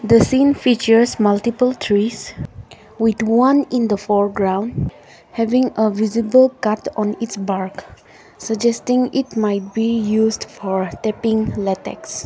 the scene features multiple trees with one in the foreground having a visible cut on its bark suggesting it might be used for tapping latex.